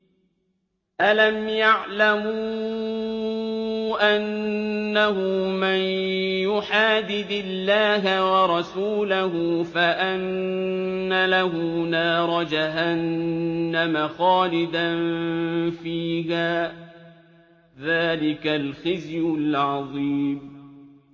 أَلَمْ يَعْلَمُوا أَنَّهُ مَن يُحَادِدِ اللَّهَ وَرَسُولَهُ فَأَنَّ لَهُ نَارَ جَهَنَّمَ خَالِدًا فِيهَا ۚ ذَٰلِكَ الْخِزْيُ الْعَظِيمُ